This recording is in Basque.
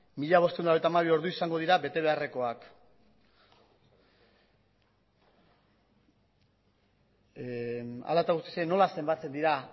mila bostehun eta laurogeita hamabi ordu izango dira betebeharrekoak hala eta guztiz ere nola zenbatzen dira